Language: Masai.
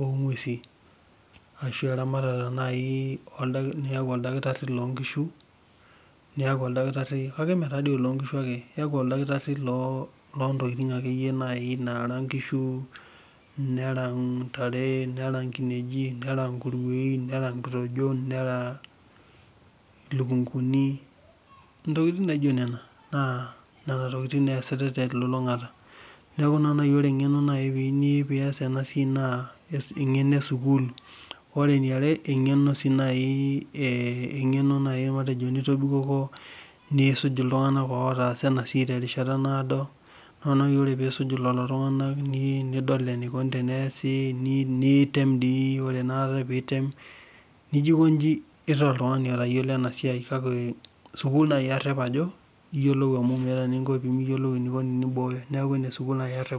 ogwesin ashua eramatare naaji niyaku oldakitari loonkishu ,kake mee oloonkishu tadi ake iyaku naaji oldakitari loontoking naara nkishu, nera ntare, nera nkineji, nera nkurwein ,nera nkitejon ,nera lukunkuni, ntokiting naijo nenanaa nena tokiting eesita kulo tunganak. Neeku ore naa engeno naaji niyieu pee iyas ena siai naa engeno esukul, ore eniare engeno naaji nitobikoko nisuj iltunganak otaasa ena siai terishata naado ,naa ore naaji pee isuj lelo tunganak nidol enikoni teneesi, nitem dii ,ore ake pee item nijo eikoni itaa oltungani otayiolo ena siai .Kake sukul naaji arep ajo yiolou amu meeta eninko pemiyiolu tenibooyo. Neeku enesukuul naaji nanu arep.